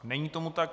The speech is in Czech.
Není tomu tak.